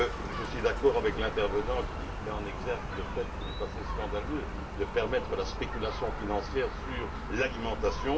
Je suis d'accord avec l'intervenant qui met en exergue le fait qu'il est assez scandaleux de permettre la spéculation financière sur l'alimentation.